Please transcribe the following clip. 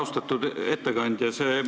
Austatud ettekandja!